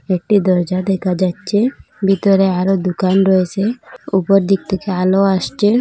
একটি দরজা দেখা যাচ্ছে বিতরে আরও দোকান রয়েসে উপর দিক থেকে আলো আসছে।